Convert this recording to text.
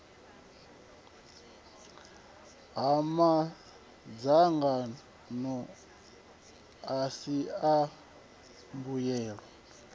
ha madzangano asi a mbuyelo